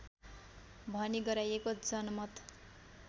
भनी गराइएको जनमत